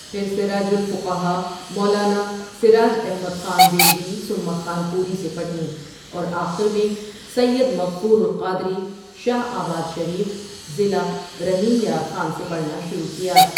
پھر سراج الفقہا مولانا سراج احمد خان بیلوی ثم خانپوری سے پڑھیں اور آخرمیں سید مغفور القادری شاہ آباد شریف، ضلع رحیم یار خاں سے پڑھنا شروع کیا۔